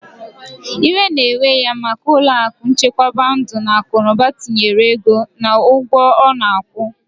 Iwe na ewe ya maka ulo aku nchekwaba ndu na akunuba tinyere ego na ugwo ona akwu.